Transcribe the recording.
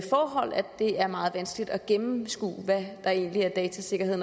det er meget vanskeligt at gennemskue hvad der egentlig er datasikkerhed